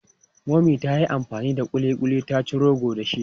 Mummy ta yi amfani da ƙuliƙuli ta ci rogo dashi.